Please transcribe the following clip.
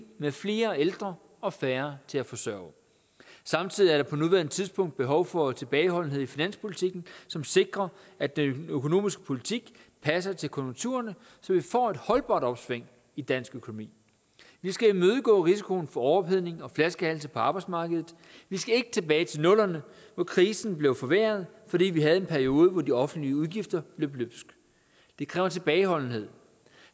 med flere ældre og færre til at forsørge samtidig er der på nuværende tidspunkt behov for en tilbageholdenhed i finanspolitikken som sikrer at den økonomiske politik passer til konjunkturerne så vi får et holdbart opsving i dansk økonomi vi skal imødegå risikoen for overophedning og flaskehalse på arbejdsmarkedet vi skal ikke tilbage til nullerne hvor krisen blev forværret fordi vi havde en periode hvor de offentlige udgifter løb løbsk det kræver tilbageholdenhed